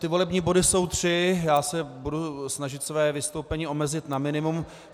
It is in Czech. Ty volební body jsou tři, já se budu snažit své vystoupení omezit na minimum.